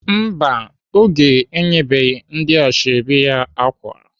Mba, Oge enyebeghị ndị ashọbị ya ákwà.